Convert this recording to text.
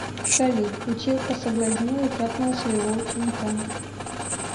салют училка соблазнила и трахнула своего ученика